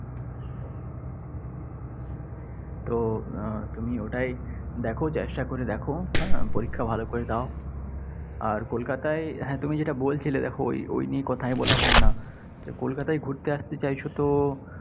তো আহ তুমি ওটাই দেখ, চেষ্টা করে দেখ, হ্যা। পরীক্ষা ভালো করে দাও। আর কলকাতায় হ্যাঁ তুমি যেটা বলছিলে দেখ ওই ওই কথায় বলা হলো না। কলকাতায় ঘুরতে আসতে চাইছ তো